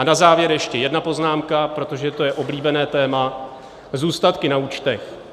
A na závěr ještě jedna poznámka, protože to je oblíbené téma - zůstatky na účtech.